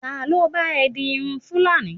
talo ba e di Irun fulani